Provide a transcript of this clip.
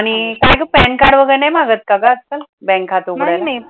आणि काय ग pan card वगरे नाही लागत का ग आजकाल बँक खात उघडायला